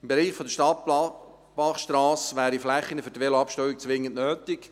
Im Bereich der Stadtbachstrasse wären Flächen zum Abstellen von Velos zwingend nötig.